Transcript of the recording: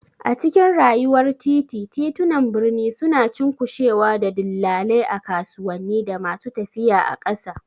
A cikin rayuwar titi, titunan birni suna cunkushewa da dillalai a kasuwanni, da masu tafiya a ƙasa.